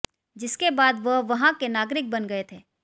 जिसके बाद वह वहां के नागरिक बन गए थे